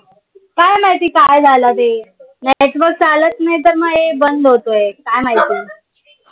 काय माहिती काय झालं ते? network चालत नाई तर मग ए बंद होतंय काय माहिती?